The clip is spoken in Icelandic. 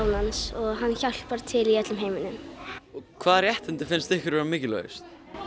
hans og hann hjálpar til í öllum heiminum hvaða réttindi finnst ykkur mikilvægust